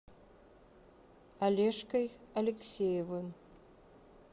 олежкой алексеевым